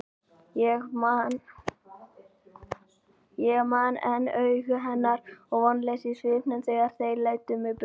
Ég man enn augu hennar og vonleysið í svipnum þegar þeir leiddu mig burt.